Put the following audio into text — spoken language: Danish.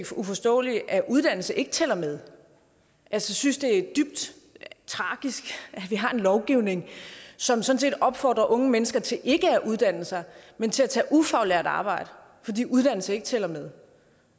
uforståeligt at uddannelse ikke tæller med jeg synes det er dybt tragisk at vi har en lovgivning som sådan set opfordrer unge mennesker til ikke at uddanne sig men til at tage ufaglært arbejde fordi uddannelse ikke tæller med